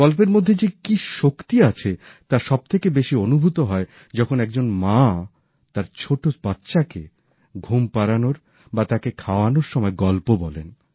গল্পের মধ্যে যে কি শক্তি আছে তা সবথেকে বেশি অনুভূত হয় যখন একজন মা তার ছোট বাচ্চাকে ঘুম পড়ানোর বা তাকে খাওয়ানোর সময় গল্প বলেন